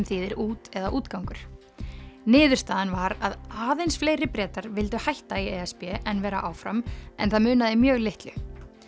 þýðir út eða útgangur niðurstaðan var að aðeins fleiri Bretar vildu hætta í e s b en vera áfram en það munaði mjög litlu